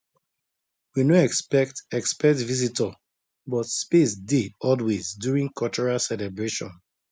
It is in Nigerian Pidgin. we no expect expect visitor but space dey always during cultural celebration